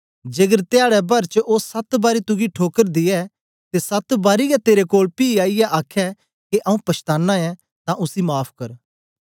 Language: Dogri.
जेकर धयाडै भर च ओ सत बारी तुगी ठोकर दे ते सत बारी गै तेरे कोल पी आईयै आखे के आऊँ पछाताना ऐं तां उसी माफ़ कर